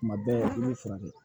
Tuma bɛɛ ne furakɛ